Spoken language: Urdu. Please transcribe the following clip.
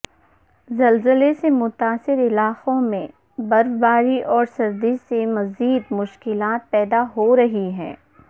زلزلے سے متاثرہ علاقوں میں برفباری اور سردی سے مزید شکلات پید ہو رہی ہیں